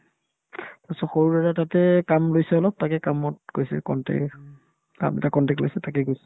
তাৰপিছত সৰু দাদাই তাতে কাম লৈছে অলপ তাকে কামত গৈছে contact কাম এটা contact লৈছে তাতে গৈছে